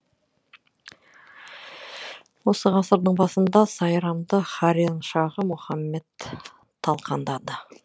осы ғасырдың басында сайрамды хорезм шаһы мұхаммед талқандады